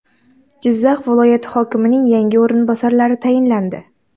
Jizzax viloyati hokimining yangi o‘rinbosarlari tayinlandi.